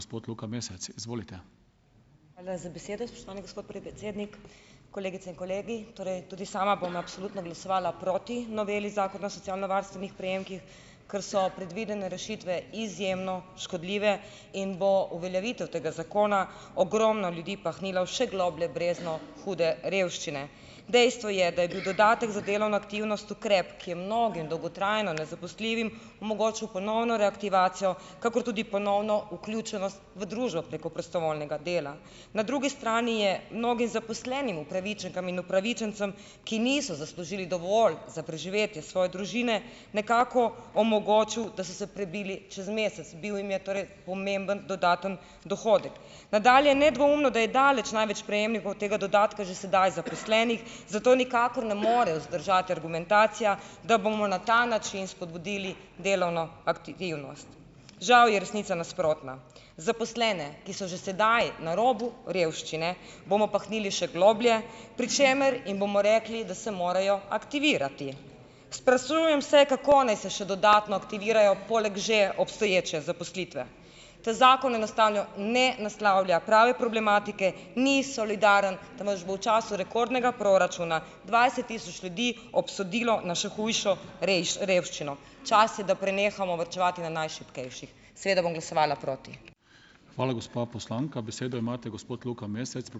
Hvala za besedo, spoštovani gospod predsednik. Kolegice in kolegi! Torej tudi sama bom absolutno glasovala proti noveli Zakona o socialnovarstvenih prejemkih, ker so predvidene rešitve izjemno škodljive in bo uveljavitev tega zakona ogromno ljudi pahnila v še globlje brezno hude revščine. Dejstvo je, da je bil dodatek za delovno aktivnost ukrep, ki je mnogim dolgotrajno nezaposljivim omogočil ponovno reaktivacijo, kakor tudi ponovno vključenost v družbo preko prostovoljnega dela. Na drugi strani je mnogim zaposlenim, upravičenkam in upravičencem, ki niso zaslužili dovolj za preživetje svoje družine, nekako omogočil, da so se prebili čez mesec. Bil jim je torej pomemben dodatni dohodek. Nadalje. Nedvoumno, da je daleč največ prejemnikov tega dodatka že sedaj zaposlenih, zato nikakor ne more vzdržati argumentacija, da bomo na ta način spodbudili delovno aktivnost. Žal je resnica nasprotna. Zaposlene, ki so že sedaj na robu revščine, bomo pahnili še globlje, pri čemer jim bomo rekli, da se morejo aktivirati. Sprašujem se, kako naj se še dodatno aktivirajo poleg že obstoječe zaposlitve. Ta zakon enostavno ne naslavlja prave problematike, ni solidaren, temveč bo v času rekordnega proračuna dvajset tisoč ljudi obsodilo na še hujšo revščino. Čas je, da prenehamo varčevati na najšibkejših. Seveda bom glasovala proti.